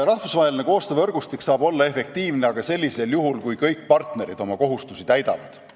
Rahvusvaheline koostöövõrgustik saab olla efektiivne aga sellisel juhul, kui kõik partnerid oma kohustusi täidavad.